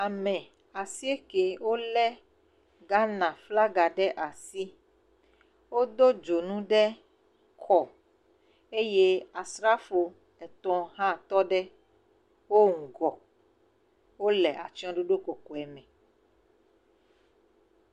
Ame asieke wolé Ghana flaga ɖe asi eye wodo dzonu ɖe kɔ eye asrafo hã etɔ̃ hã tɔ ɖe wo ŋgɔ, wole atsyɔɖoɖo kɔkɔe me.